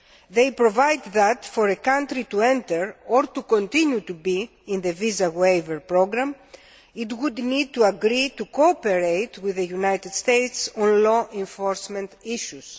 They provide that, in order for a country to enter or to continue to be in the Visa Waiver Programme, it would need to agree to cooperate with the United States on law enforcement issues.